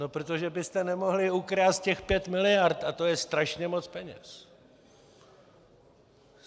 No protože byste nemohli ukrást těch pět miliard a to je strašně moc peněz!